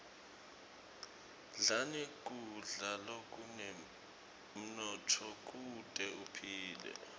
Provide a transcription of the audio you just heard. dlani kudla lokunemnotfo kute uphile